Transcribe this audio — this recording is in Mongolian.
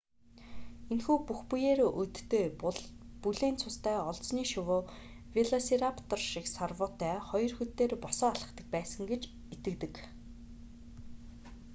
энэхүү бүх биеэрээ өдтэй бүлээн цустай олзны шувуу велосираптор шиг сарвуутай хоёр хөл дээрээ босоо алхдаг байсан гэж итгэдэг